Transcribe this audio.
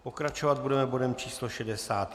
Pokračovat budeme bodem číslo